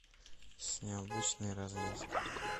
с необычной развязкой